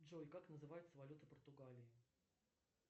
джой как называется валюта португалии